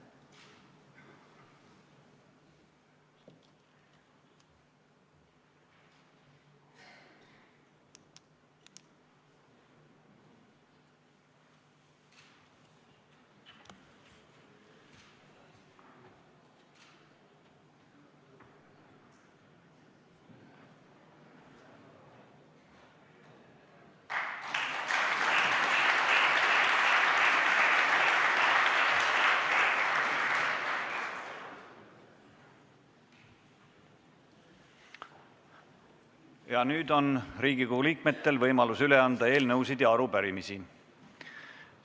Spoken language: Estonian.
Ja nüüd on Riigikogu liikmetel võimalus üle anda eelnõusid ja arupärimisi.